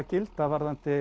gilda